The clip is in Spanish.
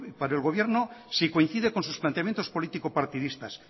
para el gobierno si coincide con sus planteamientos político partidistas